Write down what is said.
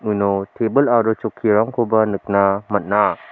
uno tebil aro chokkirangkoba nikna man·a.